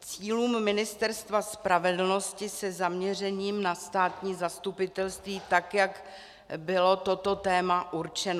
cílům Ministerstva spravedlnosti se zaměřením na státní zastupitelství, tak jak bylo toto téma určeno.